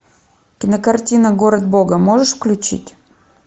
кинокартина город бога можешь включить